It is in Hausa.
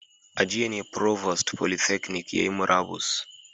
A jiya ne provost polytechnic yayi murabus